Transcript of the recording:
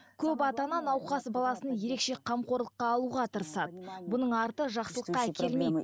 көп ата ана науқас баласын ерекше қамқорлыққа алуға тырысады бұның арты жақсылыққа әкелмейді